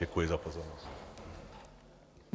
Děkuji za pozornost.